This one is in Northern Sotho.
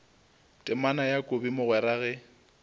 temana ya kobi mogwera ge